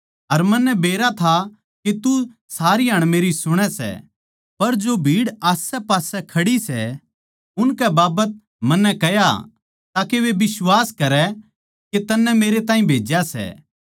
अर मन्नै बेरा था के तू सारी हाण मेरी सुणै सै पर जो भीड़ आसैपासै खड़ी सै उनकै बाबत मन्नै कह्या ताके वे बिश्वास करै के तन्नै मेरैताहीं भेज्या सै